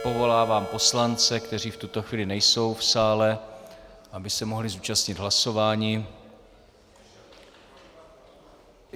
Povolávám poslance, kteří v tuto chvíli nejsou v sále, aby se mohli zúčastnit hlasování.